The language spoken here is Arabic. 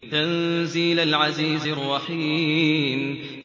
تَنزِيلَ الْعَزِيزِ الرَّحِيمِ